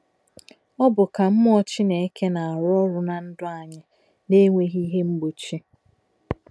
Ọ bụ ka mmụọ Chineke na-arụ ọrụ ná ndụ anyị na-enweghi ihe mgbochi.